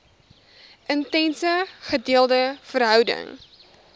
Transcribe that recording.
intense gedeelde verhouding